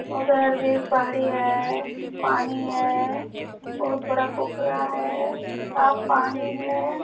उधर भी एक पहाड़ी है पानी है बहुत बड़ा पोखरा है साफ पानी है।